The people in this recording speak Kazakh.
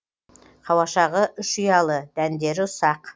қауашағы үш ұялы дәндері ұсақ